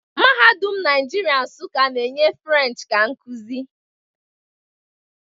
Mahadum Nigeria Nsukka na-enye Firench ka nkuzi